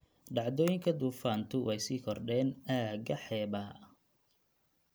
Dhacdooyinka duufaantu way sii kordheen aagga xeebaha.